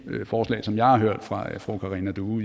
forslag som jeg har hørt fra fru karina due